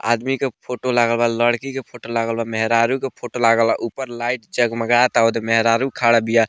आदमी के फोटो लागल बा लड़की के फोटो लागल बा मेहरारू के फोटो लागल बा ऊपर लाइट जगमगाता ओदे मेहरारू खड़ा बिया।